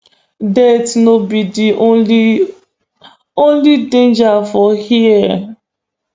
death no be di only only danger for hia